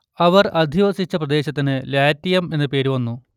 അവർ അധിവസിച്ച പ്രദേശത്തിന് ലാറ്റിയം എന്നു പേര് വന്നു